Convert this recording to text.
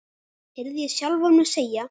heyrði ég sjálfan mig segja.